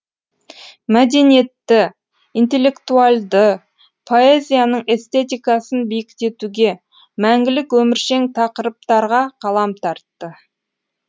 мәдениетті интелектуальды поэзияның эстетикасын биіктетуге мәңгілік өміршең тақырыптарға қалам тартты